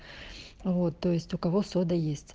вот то есть у кого сода есть